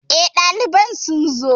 Eh, ɗaliban sun zo